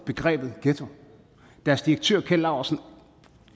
begrebet ghetto deres direktør keld laursen